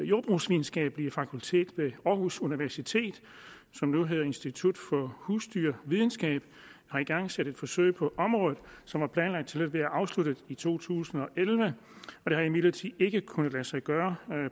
jordbrugsvidenskabelige fakultet ved aarhus universitet som nu hedder institut for husdyrvidenskab har igangsat et forsøg på området som var planlagt til at være afsluttet i to tusind og elleve det har imidlertid ikke kunnet lade sig gøre